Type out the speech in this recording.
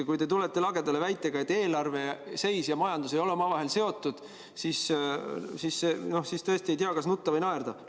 Kui te tulete lagedale väitega, et eelarve seis ja majandus ei ole omavahel seotud, siis tõesti ei tea, kas nutta või naerda.